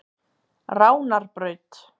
Ránarbraut